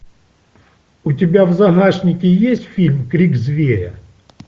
у тебя в загашнике есть фильм крик зверя